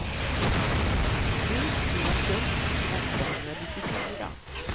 tre tusen åttahundranittiofyra